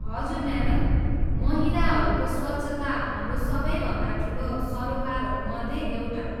हजुर, म्याडम, महिलाहरूको स्वच्छता हाम्रो सबैभन्दा ठुलो सरोकारहरू मध्ये एउटा हो।